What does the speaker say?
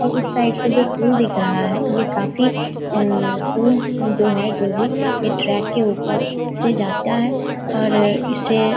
और उस साइड से जो पूल दिख रहा है ये काफ़ी अम पूल जो है जो भी ये ट्रैक के ऊपर से जाता है और इसे --